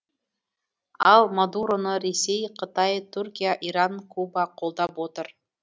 ал мадуроны ресей қытай түркия иран куба қолдап отыр